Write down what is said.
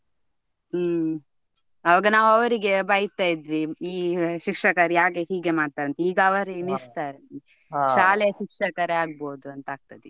ಹ್ಮ್ ಅವಾಗ ನಾವು ಅವರಿಗೆ ಬೈತಾ ಇದ್ವಿ ಈ ಶಿಕ್ಷಕರು ಯಾಕೆ ಹೀಗೆ ಮಾಡ್ತಾರೆ ಅಂತ ಆದ್ರೆ ಈಗ ಅವರೇ ಎನ್ನಿಸ್ತಾರೆ. ಶಾಲೆ ಶಿಕ್ಷಕರೇ ಆಗಬೋದು ಅಂತ ಆಗ್ತದೆ ಈಗ.